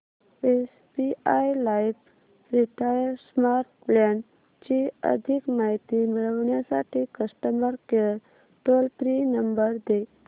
SBI life retire smart plan ची अधिक माहिती मिळविण्यासाठी customer care toll free number दे